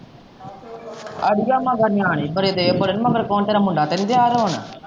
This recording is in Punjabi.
ਅੜੀਏ ਮਗਰ ਨਿਆਣਿਆਂ ਹੀ ਬੜੇ ਦਏ ਪਤਾ ਨੀ ਮਗਰ ਕੌਣ ਤੇਰਾ ਮੁੰਡਾ ਤਾਂ ਨੀ ਦਿਆਂ ਰੌਣ।